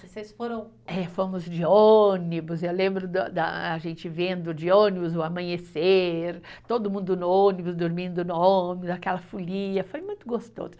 Vocês foram, é, fomos de ônibus, eu lembro da da, a gente vendo de ônibus o amanhecer, todo mundo no ônibus, dormindo no ônibus, aquela folia, foi muito gostoso.